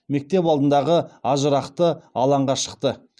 мектеп алдындағы ажырақты алаңға шықты